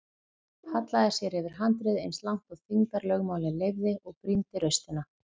Hallaði sér yfir handriðið eins langt og þyngdarlögmálið leyfði og brýndi raustina.